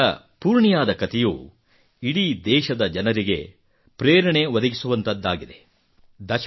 ಬಿಹಾರದ ಪೂರ್ಣಿಯಾದ ಕತೆಯು ಇಡೀ ದೇಶದ ಜನರಿಗೆ ಪ್ರೇರಣೆ ನೀಡುವಂತಹದ್ದಾಗಿದೆ